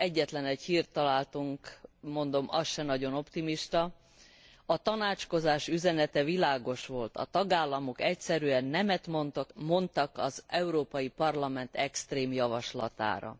Egyetlen egy hírt találtunk mondom az sem nagyon optimista A tanácskozás üzenete világos volt a tagállamok egyszerűen nemet mondtak az Európai Parlament extrém javaslatára.